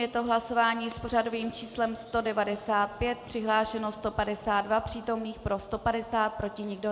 Je to hlasování s pořadovým číslem 195, přihlášeno 152 přítomných, pro 150, proti nikdo.